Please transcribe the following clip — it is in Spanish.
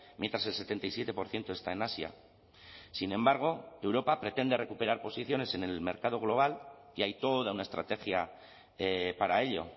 mientras el setenta y siete por ciento está en asia sin embargo europa pretende recuperar posiciones en el mercado global y hay toda una estrategia para ello